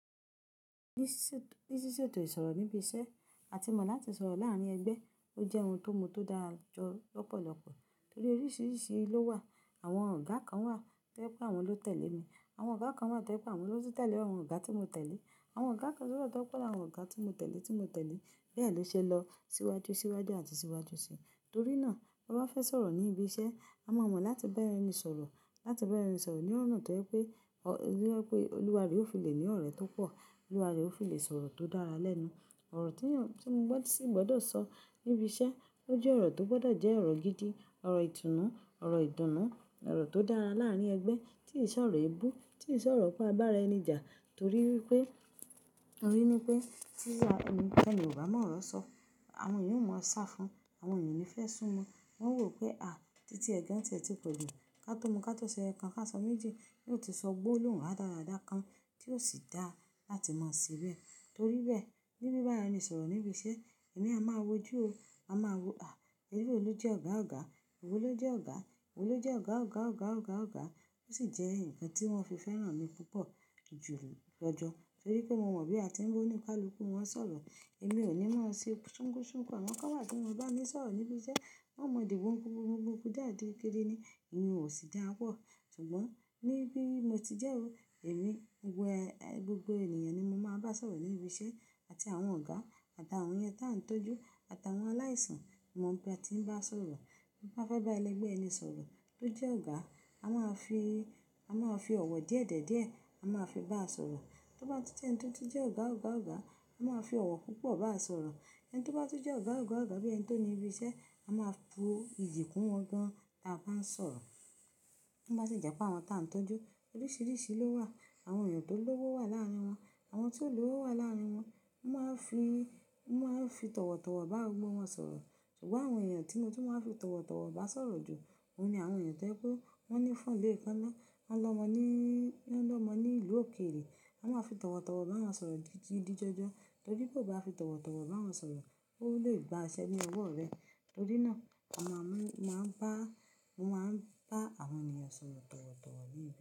Ní ṣíṣètò ìsọ̀rọ̀ níbi iṣẹ́, a ti mọ̀ láti sọ̀rọ̀ láárín ẹgbẹ́. Ó jẹ́ ohun tó mu tó dára jọ lọ́pọ̀lọpọ̀ torí oríṣiríṣi ló wà. Àwọn ọ̀gá kan wà tí jẹ pé àwọn ló tẹ̀lé mi, àwọn ọ̀gá kan wà tí jẹ pé àwọn ló tẹ̀lé àwọn ọ̀gá tí mo tẹ̀lé. Àwọn ọ̀gá kan naa tan pelu àwọn ọ̀gá tí mo tẹ̀lé, tí mo tẹ̀lé. Bẹ́ẹ̀ ló ṣe lọ síwájú, síwájú àti síwájú sí i. Torí náà, bí wọ́n bá fẹ́ sọ̀rọ̀ ní ibi iṣẹ́, a máa mọ̀ láti bá ẹni sọ̀rọ̀. Láti bára ẹni sọ̀rọ̀ ní ọ̀na tó jẹ pé, pé Olúwàre ó fi lè ní ọ̀rẹ́ tó pọ̀. Olúwàre ó fi lè sọ̀rọ̀ tó dára lẹ́nu. Ọ̀rọ̀ tí eeyàn, tí mo gbọ́dọ̀ sì gbọdọ̀ sọ níbi iṣẹ́, ó jẹ́ ọ̀rọ̀ tó gbọdọ̀ jẹ́ ọ̀rọ̀ gidi, ọ̀rọ̀ ìtùnnú, ọ̀rọ̀ ìdùnnú, ọ̀rọ̀ tó dára láàárín ẹgbẹ́. T ì ṣ'ọ̀rọ̀ eebú, tí ì ṣẹ ọ̀rọ̀ pe a bá ara ẹni jà. Torí wipé, torí ni pé tí ẹnikeni o ba mo ọ̀rọ̀ sọ, àwọn ènìyàn ò mọ sá fún un, àwọn ènìyàn ò ní fẹ́ sún mo. Wọn o wo pé "à, títí ẹ̀ gan-an tí ẹ ti poju ká tó mu, ká tó ṣe ẹyokan, á sọ méjì." Yóò ti sọ gbólohun radadara kan tí ó sì dá láti mọ̀ síbẹ̀. Torí bẹ́ẹ̀, níbí bára ẹni sọ̀rọ̀ níbi iṣẹ́, èmi a máa wojú o. A máa wo, à, ẹleyii lo jẹ́ ọ̀gá ọ̀gá, ìwọ ló jẹ́ ọ̀gá, ìwọ ló jẹ́ ọ̀gá ọ̀gá ọ̀gá ọ̀gá ọ̀gá. Ó sì jẹ́ nnkan tí wọ́n fi fẹ́ràn mi púpọ̀ jù jọ́jọ́. Torí pé mo mọ̀ bí a ti ń wí ba onikalukù wọ́n sọ̀rọ̀. Èmi ò ní máa ṣí ṣúkú ṣúkú. Àwọn kan wà tí wọ́n kii bámi sọ̀rọ̀ níbi iṣẹ́, wọ́n mọ dí kunkun kúnkún kaakiri ni ìyẹn ò sì dára pọ̀. Ṣùgbọ́n níbí mo ti jẹ́ o, èmi wẹ ẹ gbogbo ènìyàn ni mo máa bá sọ̀rọ̀ ní ibi iṣẹ́. Àti àwọn ọ̀gá, àti àwọn ẹni tí à ń tọ́jú, àti àwọn aláìsàn. Mo mọ bí a ti ń bá sọ̀rọ̀. Baá fẹ́ bá ẹlẹgbẹ́ ẹni sọ̀rọ̀ tó jẹ́ ọ̀gá, a máa fi, a máa fi ọ̀wọ̀ díẹ̀dẹ̀ díẹ̀ a máa fi bá sọ̀rọ̀. Tó bá tí je ẹni tó jẹ́ ọ̀gá ọ̀gá ọ̀gá, a máa fi ọ̀wọ̀ púpọ̀ bá sọ̀rọ̀. Ẹni tó bá tọ́ jẹ́ ọ̀gá ọ̀gá ọ̀gá bí ẹni tó ní ibi iṣẹ́, a máa bu ìyí kún wọn gan-an tí a bá ń sọ̀rọ̀. Tó bá sì jẹ́ pé àwọn tí à ń tọ́jú, oríṣiríṣi ló wà. Àwọn ènìyàn tó lówó wà láàárín wọn, àwọn tí ò lówó wà láàárín wọn. Mo máa ń fi, mo máa ń fi tọ̀wọ̀tọ̀wọ̀ bá gbogbo wọn sọ̀rọ̀. Ṣùgbọ́n àwọn ènìyàn tì mo tun maa n fi tọ̀wọ̀tọ̀wọ̀ bá sọ̀rọ̀ jù, òun ni àwọn ènìyàn tí jẹ pé wọ́n nífon leekana, won lomo ni ilu okeere, mo maa n fi towotowo bawon soro gidi gan gan ti o ba fi towotowo bawon soro, won le gba ise ni owo re. Nitori naa, mo maa n ba awon eniyan soro towotowo.